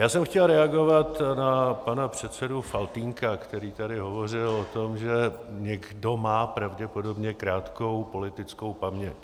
Já jsem chtěl reagovat na pana předsedu Faltýnka, který tady hovořil o tom, že někdo má pravděpodobně krátkou politickou paměť.